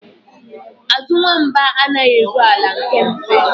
Azụ nwamba anaghị eru ala nke mfe